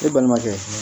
E balimakɛ